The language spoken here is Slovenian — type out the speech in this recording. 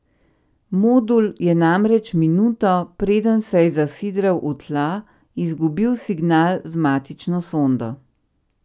Modul je namreč minuto, preden se je zasidral v tla, izgubil signal z matično sondo.